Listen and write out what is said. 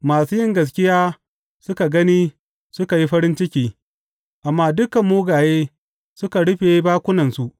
Masu yin gaskiya suka gani suka yi farin ciki amma dukan mugaye suka rufe bakunansu.